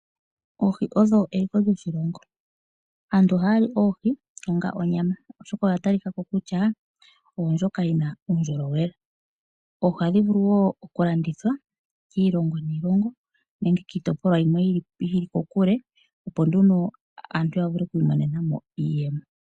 Oohi odho eliko lyoshilongo, aantu ohaya li oohi onga onyama oshoka odha ta li ka ko kutya odhina uundjolowele. Oohi oha dhi vulu wo okulandithwa kiilongo niilongo nenge kiitopolwa yimwe yi li kokule opo nduno aantu yavule oku imonena mo iiyemo.